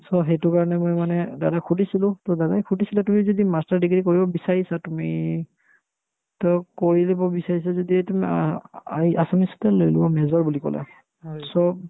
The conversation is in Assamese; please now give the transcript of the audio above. so, সেইটোৰ কাৰণে মই মানে দাদাক সুধিছিলো to দাদাই সুধিছিলে তুমি যদি master degree কৰিব বিচাৰিছা তুমি to কৰি দিব বিচাৰিছা যদি তুমি আহ্ ~ আই ~ assamese টোয়ে লৈ লোৱা major বুলি ক'লে so